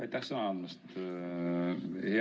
Aitäh sõna andmast!